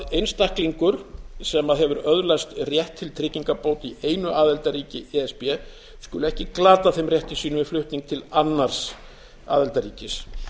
einstaklingur sem hefur öðlast rétt til tryggingabóta í einu aðildarríki e s b skuli ekki glata þeim rétti sínum við flutning til annars aðildarríkis